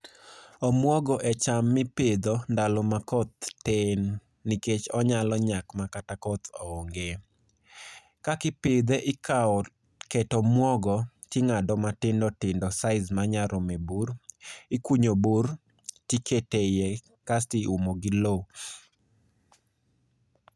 Omwogo e cham mipidho ndalo ma koth tin nikech onyalo nyak makato koth onge. Kakipidhe ikawo ket omwogo ting'ado matindo tindo size manya rome bur. Ikunyo bur tikete iye kaeti umo gi lowo.